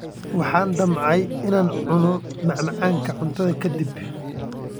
Waxaan damcay inaan cuno macmacaan cuntada ka dib.